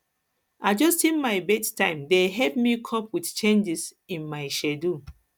adjusting my bedtime dey help me cope with changes in in my schedule